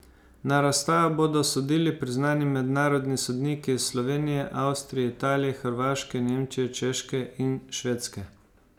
Na razstavah bodo sodili priznani mednarodni sodniki iz Slovenije, Avstrije, Italije, Hrvaške, Nemčije, Češke in Švedske.